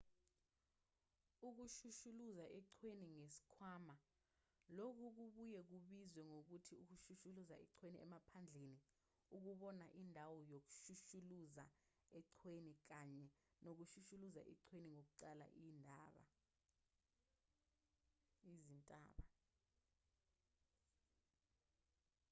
ukushushuluza eqhweni ngesikhwama lokhu kubuye kubizwe ngokuthi ukushushuluza eqhweni emaphandleni ukubona indawo ngokushushulaza eqhweni kanye nokushushuluza eqhweni kokuqwala izintaba